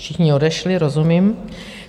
Všichni odešli, rozumím.